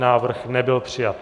Návrh nebyl přijat.